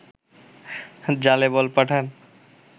জালে বল পাঠান